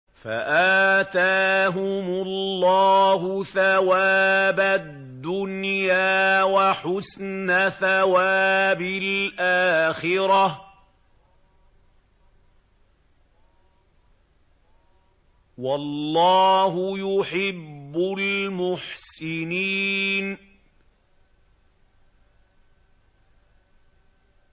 فَآتَاهُمُ اللَّهُ ثَوَابَ الدُّنْيَا وَحُسْنَ ثَوَابِ الْآخِرَةِ ۗ وَاللَّهُ يُحِبُّ الْمُحْسِنِينَ